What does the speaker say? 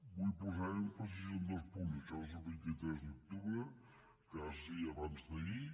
vull posar èmfasi en dos punts això és el vint tres d’oc·tubre quasi abans·d’ahir